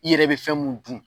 I yɛrɛ be fɛn mun dun